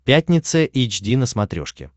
пятница эйч ди на смотрешке